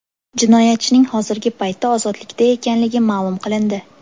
Jinoyatchining hozirgi paytda ozodlikda ekanligi ma’lum qilindi.